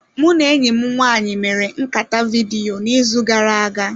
Mụ na enyi m nwaanyị mere nkata vidiyo n'izu gara aga.